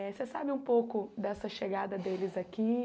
eh Você sabe um pouco dessa chegada deles aqui?